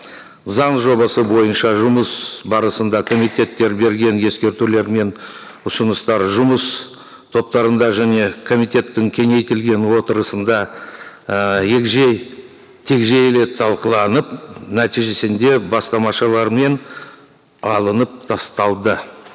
заң жобасы бойынша жұмыс барысында комитеттер берген ескертулер мен ұсыныстар жұмыс топтарында және комитеттің кеңейтілген отырысында і егжей тегжейлі талқыланып нәтижесінде бастамашылармен алынып тасталды